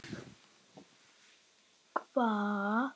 Hvað erum við með hér?